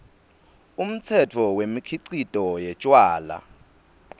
umtsetfo wemikhicito yetjwala